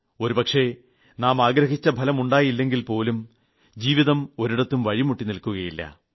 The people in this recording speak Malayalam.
ഒരുപക്ഷേ നാമാഗ്രഹിച്ച ഫലം ഉണ്ടായില്ലെങ്കിൽ പോലും ജീവിതം ഒരിടത്തും വഴിമുട്ടി നിൽക്കില്ല